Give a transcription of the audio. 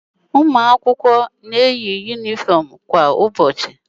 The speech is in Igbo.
A na eyi àkwà akwụkwọ kwa ụbọchị